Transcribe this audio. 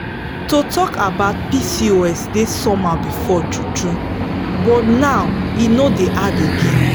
to talk about pcos dey somehow before true true but now e no dey hard again.